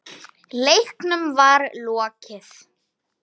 Leiknum var lokið.